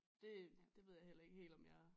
Det det ved jeg heller ikke helt om jeg